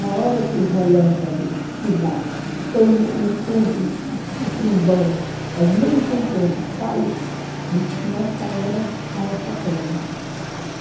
Na hora que o relâmpago se dá, que tem o encontro do do do trovão, as nuvens se encontram e saem, aí diz que nessa hora cai essa pedra.